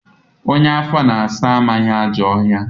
Onye afọ na-asa amaghị ajọ ọhịa